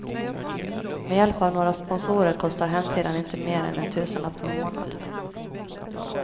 Med hjälp av några sponsorer kostar hemsidan inte mer än en tusenlapp per månad.